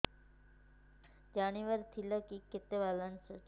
ଜାଣିବାର ଥିଲା କି କେତେ ବାଲାନ୍ସ ଅଛି